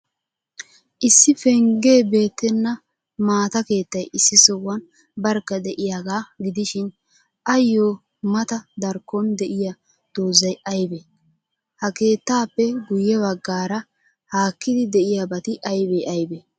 Issi penggee beettenna maata keettay issi sohuwan barkka de'iyaagaa gidishin, ayyo mata darkkon de'iya dozay aybee? Ha keettaappe guyye baggara haakkidi de'iyaabati aybee aybee?